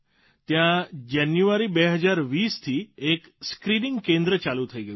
ત્યાં જાન્યુઆરી ૨૦૨૦થી એક સ્ક્રીનીંગ કેન્દ્ર ચાલુ થઇ ગયું છે